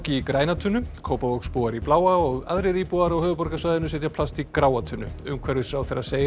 í græna tunnu Kópavogsbúar í bláa og aðrir íbúar á höfuðborgarsvæðinu setja plast í gráa tunnu umhverfisráðherra segir